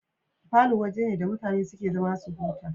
Falo waje ne da mutane suke zama su huta